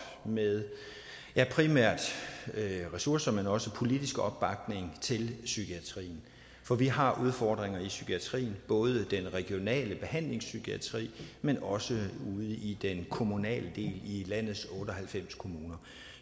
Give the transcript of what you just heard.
med primært ressourcer men også politisk opbakning til psykiatrien for vi har udfordringer i psykiatrien både i den regionale behandlingspsykiatri men også ude i den kommunale del i landets otte og halvfems kommuner